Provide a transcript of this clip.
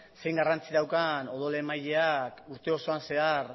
ze garrantzi daukan odol emaileak urte osoan zehar